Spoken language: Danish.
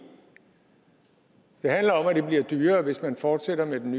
det handler om at det bliver dyrere hvis man fortsætter med den